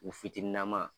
U fitininama